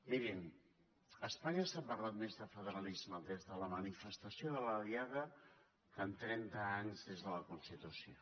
mirin espanya està parlant més de federalisme des de la manifestació de la diada que en trenta anys des de la constitució